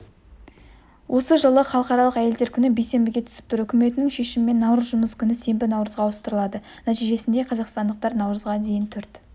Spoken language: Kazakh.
осы жылы халықаралық әйелдер күні бейсенбіге түсіп тұр үкіметінің шешімімен наурыз жұмыс күні сенбі наурызға ауыстырылады нәтижесінде қазақстандықтар наурызға дейін төрт